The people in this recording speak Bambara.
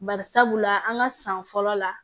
Bari sabula an ka san fɔlɔ la